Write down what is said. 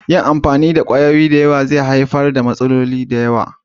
Yin amfani da kwayoyi da yawa zai haifar da matsalolin lafiya.